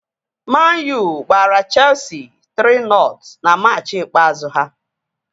Man-U gbara cheesi 3-nọt na machị ikpeazụ ha